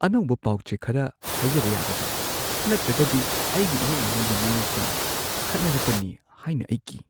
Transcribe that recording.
ꯑꯅꯧꯕ ꯄꯥꯎ-ꯆꯦ ꯈꯔ ꯍꯥꯏꯖꯕ ꯌꯥꯒꯗ꯭ꯔꯥ? ꯅꯠꯇ꯭ꯔꯒꯗꯤ ꯑꯩꯒꯤ ꯏꯃꯨꯡ ꯃꯅꯨꯡꯒꯤ ꯃꯤꯑꯣꯏꯁꯤꯡ ꯈꯠꯅꯔꯛꯀꯅꯤ ꯍꯥꯏꯅ ꯑꯩ ꯀꯤ ꯫